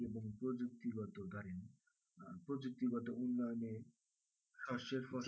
শস্যের ফসল